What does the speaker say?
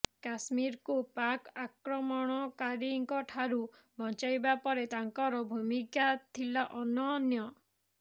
କାଶ୍ମୀରକୁ ପାକ୍ ଆକ୍ରମଣକାରୀଙ୍କଠାରୁ ବଞ୍ଚାଇବାରେ ତାଙ୍କର ଭୂମିକା ଥିଲା ଅନନ୍ୟ